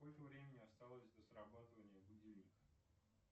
сколько времени осталось до срабатывания будильника